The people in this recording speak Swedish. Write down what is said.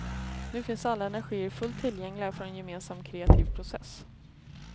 Nu finns alla energier fullt tillgängliga för en gemensam kreativ process.